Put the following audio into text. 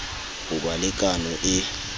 ho ba le kano e